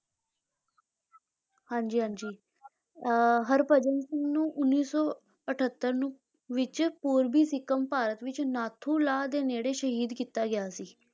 ਹਾਂਜੀ ਹਾਂਜੀ ਅਹ ਹਰਭਜਨ ਸਿੰਘ ਨੂੰ ਉੱਨੀ ਸੌ ਅਠੱਤਰ ਨੂੰ ਵਿੱਚ ਪੂਰਬੀ ਸਿੱਕਮ, ਭਾਰਤ ਵਿੱਚ ਨਾਥੂ ਲਾ ਦੇ ਨੇੜੇ ਸ਼ਹੀਦ ਕੀਤਾ ਗਿਆ ਸੀ,